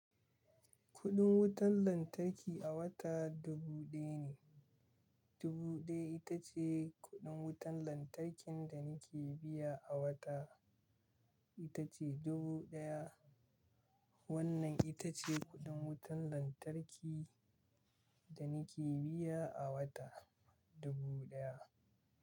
Kuɗin wutan lantarki a wata dubu ɗaya ne. Dubu ɗaya ita ce kuɗin wutan lantarkin da ni ke biya a wata, ita ce dubu ɗaya. Wannan ita ce kuɗin wutan lantarki da ni ke biya a wata, dubu ɗaya.